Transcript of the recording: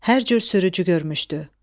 Hər cür sürücü görmüşdü.